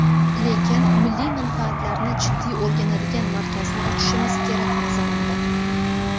Lekin milliy manfaatlarni jiddiy o‘rganadigan markazni ochishimiz kerak nazarimda.